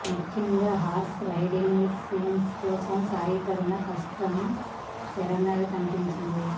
ముఖ్యంగా horse riding scenes కోసం సాయి పడిన కష్టం తెర మీద కనిపించింది